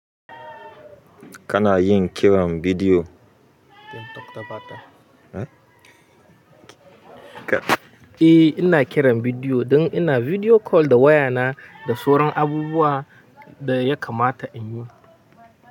Kana yin kiran bidiyo? Eh ina kiran bidiyo don ina bidiyo kol da wayana da sauran abubuwa da ya kamata in yi.